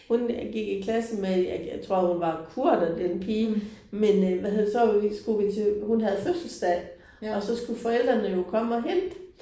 Hun gik i klasse med jeg jeg tror hun var kurder den pige men øh hvad hedder det så øh skulle vi til hun havde fødselsdag, og så skulle forældrene jo komme og hente